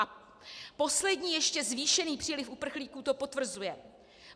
A poslední ještě zvýšený příliv uprchlíků to potvrzuje.